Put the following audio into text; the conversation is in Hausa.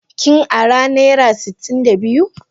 Kin ara naira sitin da biyu?